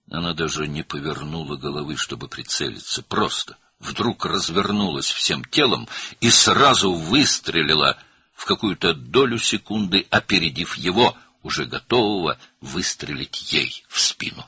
Nişan almaq üçün başını belə çevirmədi, sadəcə birdən bütün bədəni ilə döndü və bir saniyənin hansısa hissəsində onu qabaqlayaraq arxasına atəş açmağa hazır olan adama dərhal atəş açdı.